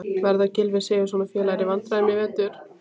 Verða Gylfi Sigurðsson og félagar í vandræðum í vetur?